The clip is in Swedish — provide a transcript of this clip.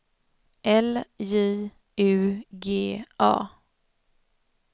L J U G A